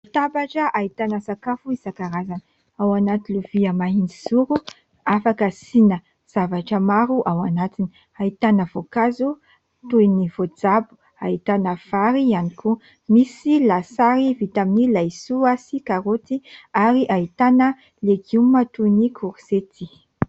Latabatra ahitana sakafo isan-karazany. Ao anaty lovia mahitsizoro afaka asiana zavatra maro ao anatiny ; ahitana voankazo toy ny voajabo, ahitana vary ihany koa. Misy lasary vita amin'ny laisoa sy karoty ary ahitana legioma toy ny korizety.